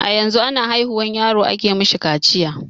A yanzu a na haihuwar yaro a ke mishi kaciya.